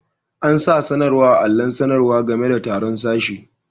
An'sa sanarwa a'alon sanarwa game da taru'n sashe.